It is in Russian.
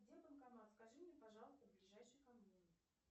где банкомат скажи мне пожалуйста ближайший ко мне